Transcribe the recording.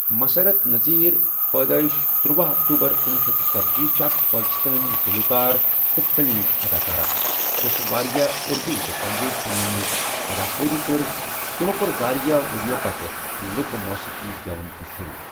مُسرَت نذیر ، پٲدٲیِش تٔرۄہَ اکتوبر کنۄہ شیتھ ژٔتجی چھِ اَکھ پاکِستٲنؠ گلوکار تہٕ فلم اداکارہ، یۄس واریاہ اُردوٗ تہٕ پنجٲبؠ فِلمَن مَنٛز اداکٲری کٔرؠ تمو کۆر واریاہ ؤریو پَتہٕ لوٗکہٕ موسیٖقی گؠوُن تہِ شۆروٗع۔